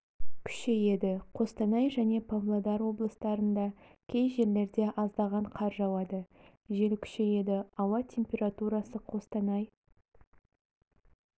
күшейеді қостанай және павлодар облыстарында кей жерлерде аздаған қар жауады жел күшейеді ауа температурасы қостанай